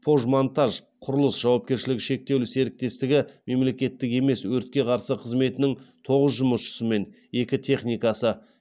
пожмонтажқұрылыс жауапкершілігі шектеулі серіктестігі мемлекеттік емес өртке қарсы қызметінің тоғыз жұмысшысы мен екі техникасы